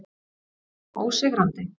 Við erum ósigrandi.